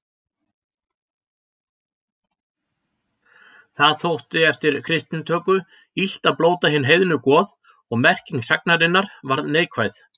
Það þótti eftir kristnitöku illt að blóta hin heiðnu goð og merking sagnarinnar varð neikvæð.